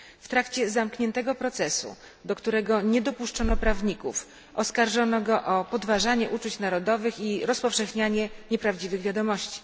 W trakcie zamkniętego procesu, do którego nie dopuszczono prawników, oskarżono go o podważanie uczuć narodowych i rozpowszechnianie nieprawdziwych wiadomości.